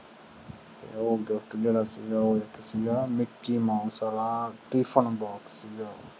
ਉਹ ਗਿਫਟ ਜਿਹੜਾ ਸੀਗਾ mickey mouse ਵਾਲਾ tiffin box ਸੀ ਉਹ